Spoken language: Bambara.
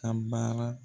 Ka baara